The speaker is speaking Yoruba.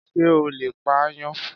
Ṣé o lè pa aáyán.?